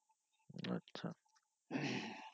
আচ্ছা